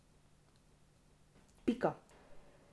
Pika.